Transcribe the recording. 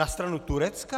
Na stranu Turecka?